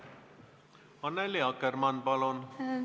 Annely Akkermann, palun!